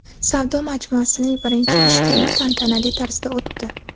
Savdo majmuasining birinchi ish kuni tantanali tarzda o‘tdi.